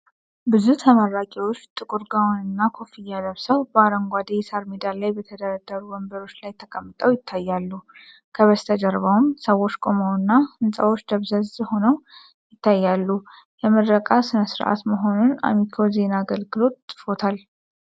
ብዙ ተመራቂዎች ጥቁር ጋወንና ኮፍያ ለብሰው፣ በአረንጓዴ የሣር ሜዳ ላይ በተደረደሩ ወንበሮች ላይ ተቀምጠው ይታያሉ፣ ከበስተጀርባውም ሰዎች ቆመውና ሕንፃዎች ደብዛዝ ሆነው ይታያሉ፣ የምረቃ ሥነ ሥርዓት መሆኑን አሚኮ ዜና አገልግሎት ፅፎታል።